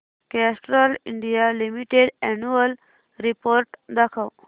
Castrol India limited annual report दाखव